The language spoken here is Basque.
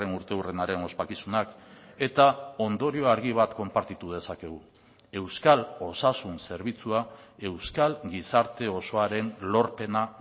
urteurrenaren ospakizunak eta ondorio argi bat konpartitu dezakegu euskal osasun zerbitzua euskal gizarte osoaren lorpena